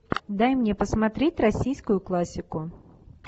дай мне посмотреть российскую классику